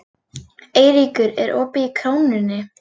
Eyríkur, er opið í Krónunni?